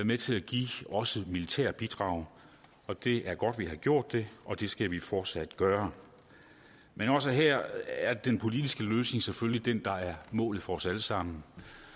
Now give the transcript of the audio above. med til at give også militære bidrag det er godt vi har gjort det og det skal vi fortsat gøre men også her er den politiske løsning selvfølgelig den der er målet for os alle sammen